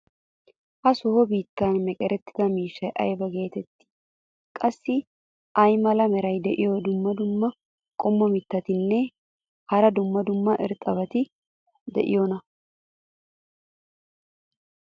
ha sohuwan beetiya meqerettida miishshay ayba geetettii? qassi ay mala meray diyo dumma dumma qommo mitattinne hara dumma dumma irxxabati de'iyoonaa?